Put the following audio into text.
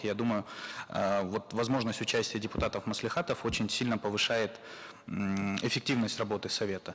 я думаю эээ вот возможность участия депутатов маслихатов очень сильно повышает ммм эффективность работы совета